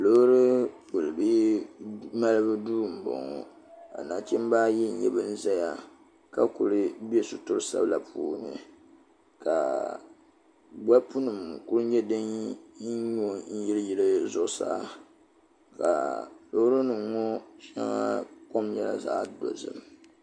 Loori kpilibihi malibu duu m boŋɔ ka nachimba ayi ban zaya ka kuli bɛ suturi sabla puuni ka bolpu nima kuli nyɛ din nyɔ n yili yili zuɣusaa ka loori nima ŋɔ sheŋa kom nyɛla zaɣa dozim.